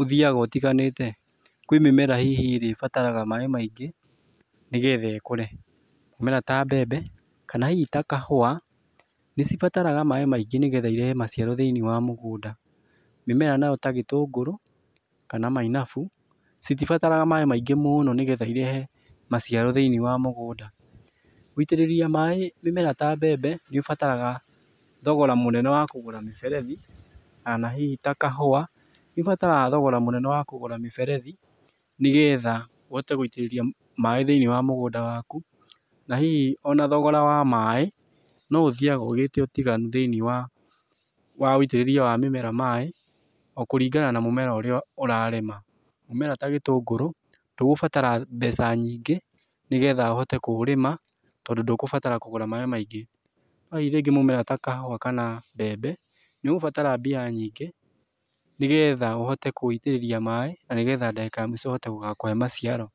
ũthĩaga ũtiganĩte. Kwĩ mĩmera hihi ĩrĩa ibataraga maaĩ maingĩ nĩgetha ĩkũre, mĩmera ta mbembe kana hihi ta kahũa nĩ cibataraga maaĩ maingĩ nĩgetha irehe maciaro thĩiniĩ wa mũgũnda. Mĩmera na yo ta gĩtũngũrũ kana mainabu citibataraga maaĩ maingĩ mũno nĩgetha irehe maciaro thĩiniĩ wa mũgũnda. Gwĩitĩrĩria maaĩ mĩmera ta mbembe nĩũbataraga thogora mũnene wakũgũra mĩberethi kana hihi ta kahũa, cibataraga thogora mũnene wa kũgũra mĩberethi nĩgetha uhote gwĩitĩrĩria maaĩ thĩiniĩ wa mũgũnda waku. Na hihi o na thogora wa maaĩ no ũthiaga ũgĩte ũtiganu thĩiniĩ wa ũtĩrĩria wa mĩmera maaĩ o kũringana na mũmera ũrĩa ũrarĩma. Mũmera ta gĩtũngũrũ, ndũgũbatara mbeca nyingĩ nĩgetha ũhote kũũrĩma tondũ ndũkũbatara kũgũra maaĩ maingĩ. No rĩu rĩngĩ mũmera ta kahũa kana mbembe nĩ ũkũbatara mbia nyingĩ nĩgetha ũhote kũũitĩrĩria maaĩ na nĩgetha ndagĩka ya mũico ũhote gũgakũhe maciaro.